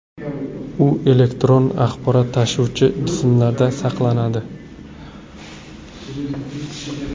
U elektron axborot tashuvchi jismlarda saqlanadi.